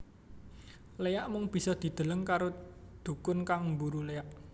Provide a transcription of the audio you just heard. Léak mung bisa dideleng karo dhukun kang mburu léak